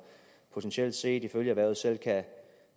potentielt set ifølge erhvervet selv kan